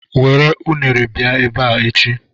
Were unere bịa ebe a echi.